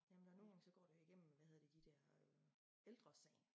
Jamen der nogen gange så går det jo igennem hvad hedder det de dér øh Ældresagen